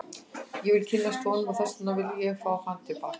Ég vil kynnast honum og þess vegna vil ég fá hann til baka.